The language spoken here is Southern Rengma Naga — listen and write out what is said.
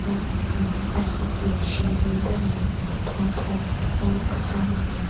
No hhmm asheki shunbin den le kethon kethon no kechon le bin.